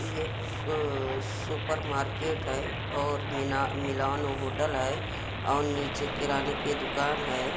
ये super market है और मिलान होटल है और निचे किरणे की दुकान है।